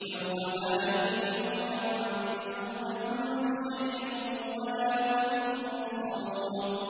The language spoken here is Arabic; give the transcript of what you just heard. يَوْمَ لَا يُغْنِي مَوْلًى عَن مَّوْلًى شَيْئًا وَلَا هُمْ يُنصَرُونَ